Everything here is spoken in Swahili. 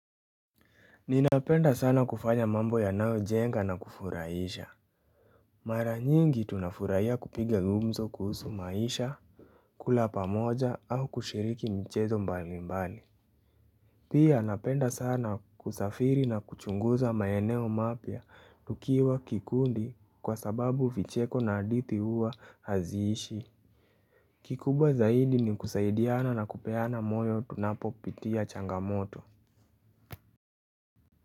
Ninapenda sana kufanya mambo yanao jenga na kufurahisha. Mara nyingi tunafurahia kupiga gumzo kuhusu maisha kula pamoja au kushiriki mchezo mbali mbali. Pia napenda sana kusafiri na kuchunguza maeneo mapia tukiwa kikundi kwa sababu vicheko na hadithi huwa hazishi. Kikubwa zaidi ni kusaidiana na kupeana moyo tunapo pitia changamoto.